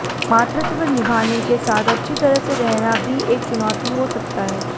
मातृत्व निभाने के साथ अच्छी तरह से रहना भी एक चुनौती हो सकता है